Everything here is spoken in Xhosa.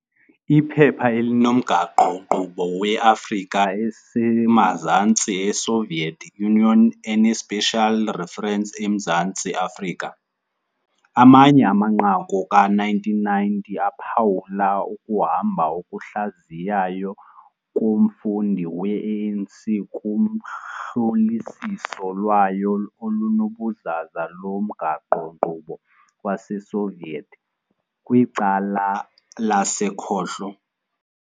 Iphepha elinomgaqo-nkqubo we-Afrika eseMazantsi e-Soviet Union-eneSpecial Reference eMzantsi Afrika- Amanye amaNqaku, ka-1990, aphawula ukuhamba okuhlaziyayo komfundi we-ANC kuhlolisiso lwayo olunobuzaza lomgaqo-nkqubo waseSoviet kwicala lasekhohlo.